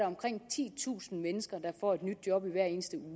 omkring titusind mennesker der får et nyt job hver eneste